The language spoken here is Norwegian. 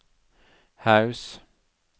Haus